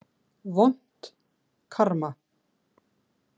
Vont karma.